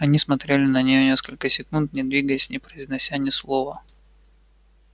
они смотрели на неё несколько секунд не двигаясь не произнося ни слова